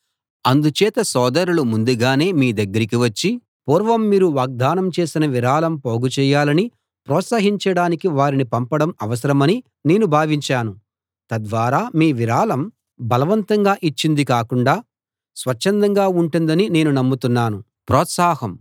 అందుచేత సోదరులు ముందుగానే మీ దగ్గరికి వచ్చి పూర్వం మీరు వాగ్దానం చేసిన విరాళం పోగుచేయాలని ప్రోత్సహించడానికి వారిని పంపడం అవసరమని నేను భావించాను తద్వారా మీ విరాళం బలవంతంగా ఇచ్చింది కాకుండా స్వచ్ఛందంగా ఉంటుందని నేను నమ్ముతున్నాను